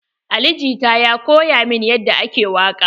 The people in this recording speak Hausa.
Ali jita ya koya min yadda ake waƙa.